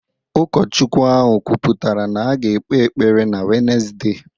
Ụkọchukwu ahụ kwuputara na a ga-ekpe ekpere na Wednesde